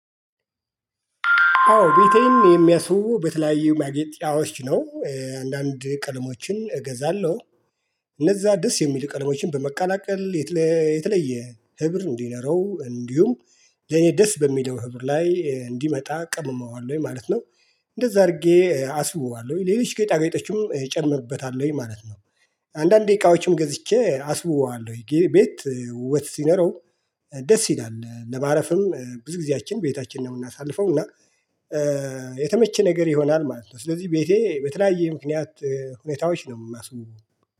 አዎ ቤቴን የሚያስውቡ በተለያዩ ማጌጫዎች ነው አንዳንድ ቀለሞችን እገዛለሁ እነዛ ደስ የሚል ቀለሞችን በመቀላቀል የተለየ ህብር እንዲኖረው እንዲሁም ለኔ ደስ በሚለው ህብር ላይ እንዲመጣ ቀምመዋለሁ ወይ ማለት ነው እንደዛ አድርጌ አስውበዋለሁ ሌሎች ጌጣጌጦችም እጨምርበታለሁ ማለት ነው አንዳንድ ዕቃዎችም ገዝቼ አስውዋለሁ የጌሪ ቤት ውበት ሲኖረው ደስ ይላል ለማረፍም ብዙ ጊዜያችን ቤታችን ነው የምናሳልፈው እና የተመቸ ነገር ይሆናል ማለት ነው ስለዚህ ቤቴ በተለያየ ምክንያት ሁኔታዎች ነው የማስውበው።